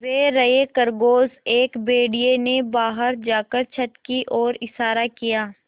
वे रहे खरगोश एक भेड़िए ने बाहर जाकर छत की ओर इशारा किया